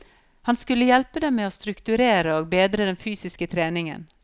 Han skulle hjelpe dem med å strukturere og bedre den fysiske treningen.